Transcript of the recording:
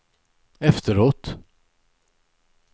efteråt